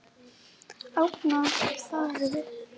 Angandi í faðminn til mín.